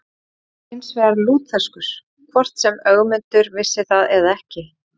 Gissur var hins vegar lútherskur, hvort sem Ögmundur vissi það eða ekki.